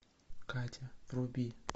катя вруби